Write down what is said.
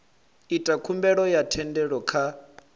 ita khumbelo ya thendelo kha